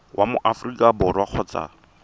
wa mo aforika borwa kgotsa